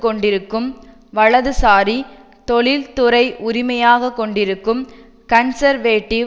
கொண்டிருக்கும் வலதுசாரி தொழில்துறை உரிமையாக கொண்டிருக்கும் கன்சர்வேடிவ்